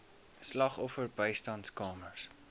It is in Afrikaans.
slagoffer bystandskamers